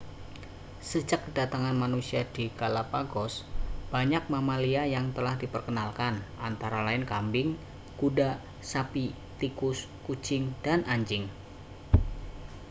sejak kedatangan manusia di galapagos banyak mamalia yang telah diperkenalkan antara lain kambing kuda sapi tikus kucing dan anjing